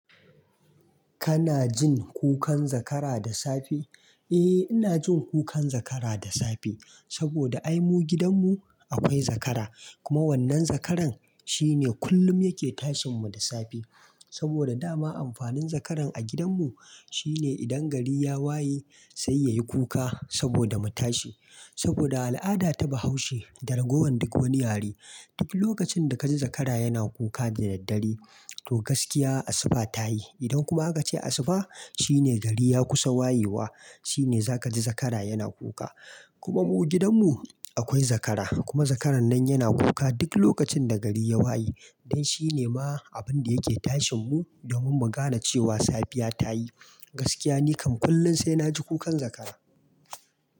Kana jin kukan zakara da safe? Eh, ina jin kukan zakara da safe. Saboda ai mu gidan mu akwai zakara. Kuma wannan zakaran shine kullum yake tashin mu da safe. Saboda dama amfanin zakaran a gidan mu shine idan gari ya waye sai yayi kuka saboda mu tashi. Saboda a al'ada ta bahaushe, da ragowan duk wani yare, duk lokacin da ka ji zakara yana kuka da daddare, to gaskiya asuba ta yi. Idan kuma aka ce asuba, shine gari ya kusa wayewa shine za ka ji zakara yana kuka. Kuma mu gidan mu akwai zakara. Kuma zakaran nan yana kuka duk lokacin da gari ya waye. Dan shi ne ma abin da yake tashin mu domin mu gane cewa safiya ta yi. Gaskiya nikam kullum sai na ji kukan zakara.